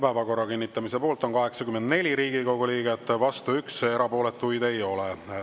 Päevakorra kinnitamise poolt on 84 Riigikogu liiget, vastu 1, erapooletuid ei ole.